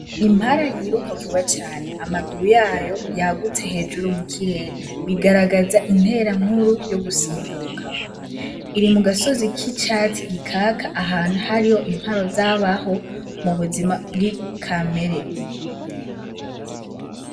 Impala yiruka vuba cane amaguru yayo yagutse hejuru mukirere bigaragaza intera nkuru yo gusimbuka iri mugasozi kicatsi gikaka ahantu hari intwaro zabaho mubuzima kamere.